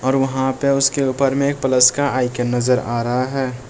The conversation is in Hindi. और वहां पे उसके ऊपर में प्लस का आइकॉन नजर आ रहा है।